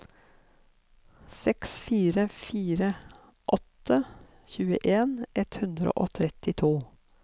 seks fire fire åtte tjueen ett hundre og trettito